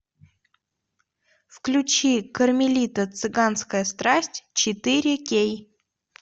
включи кармелита цыганская страсть четыре кей